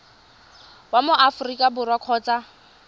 wa mo aforika borwa kgotsa